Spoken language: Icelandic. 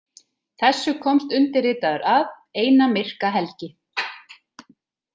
Þessu komst undirritaður að eina myrka helgi.